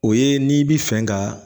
O ye n'i bi fɛ ka